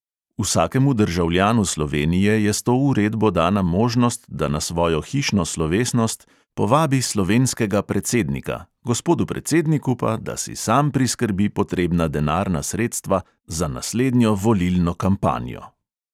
Vsakemu državljanu slovenije je s to uredbo dana možnost, da na svojo hišno slovesnost povabi slovenskega predsednika, gospodu predsedniku pa, da si sam priskrbi potrebna denarna sredstva za naslednjo volilno kampanjo.